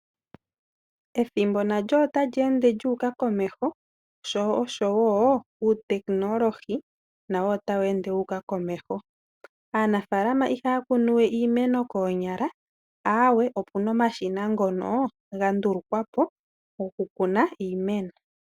Ethimbo nalyo otali ende lyu uka komeho sho oshowo uuteknolohi nawo otawu ende wu uka komeho. Aanafaalama ihaa kunu we iimeno koonyala aawe, opuna omashina ngono ga ndulukwa po goku kuna iimeno.